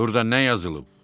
Burda nə yazılıb?